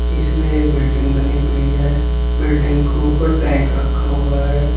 इसमें एक बिल्डिंग बनी हुई है बिल्डिंग के ऊपर टैंक रखा हुआ है।